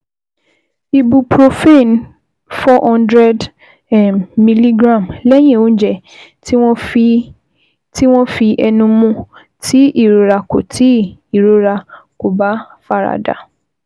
Ibuprofen four hundred um mg lẹ́yìn oúnjẹ tí wọ́n fi ẹnu mu, tí ìrora kò tí ìrora kò bá fara dà